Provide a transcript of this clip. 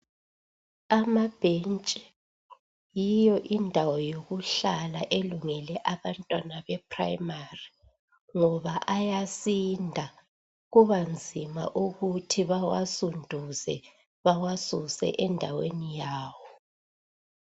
Amabhentshi yiyo indawo yokuhlala elungele abantwana beprimary ngoba ayasinda kubanzima ukuthi bawasunduze bawasuse endaweni yawo.